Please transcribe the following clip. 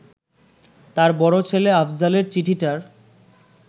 তাঁর বড় ছেলে আফজালের চিঠিটার